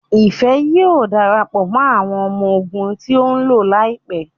Ifẹ yíò darapọ̀ mọ́ àwọn ọmọ ogun tíó ló láìpé.